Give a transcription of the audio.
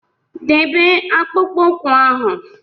Debe akpụkpọ ụkwụ ahụ!